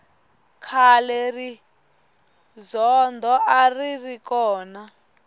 khale rizondho a ri ri kona